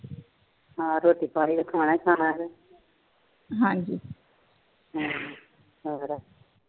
ਹਾ ਰੋਟੀ ਪਾਣੀ ਤੇ ਖਾਣਾ ਖਾਣਾ ਹਾਜੀ ਹੋਰ